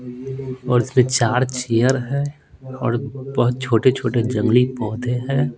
और इसमें चार चेयर हैं और बहुत छोटे-छोटे जंगली पौधे हैं।